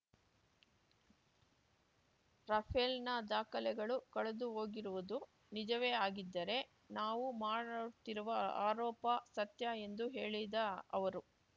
ರಫೇಲ್‌ನ ದಾಖಲೆಗಳು ಕಳೆದುಹೋಗಿರುವುದು ನಿಜವೇ ಆಗಿದ್ದರೆ ನಾವು ಮಾಡುತ್ತಿರುವ ಆರೋಪ ಸತ್ಯ ಎಂದು ಹೇಳಿದ ಅವರು